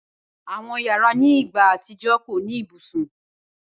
Awọn yara ni igba atijọ ko ni ibusun.